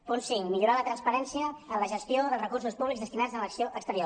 punt cinc millorar la transparència en la gestió dels recursos públics destinats a l’acció exterior